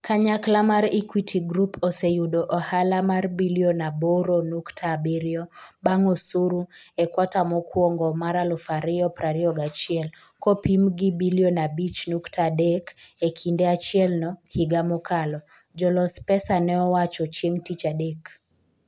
Kanyakla mar Equity Group oseyudo ohala mar Sh8.7billion bang osuru e kwata mokwongo mar 2021 kopim gi Sh5.3billion e kinde achielno higa mokalo, jolos pesa ne owacho chieng' Tich Adek.